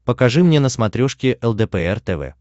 покажи мне на смотрешке лдпр тв